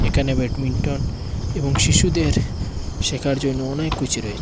এখানে ব্যাডমিন্টন এবং শিশুদের শেখার জন্য অনেক কিছু রয়েছে।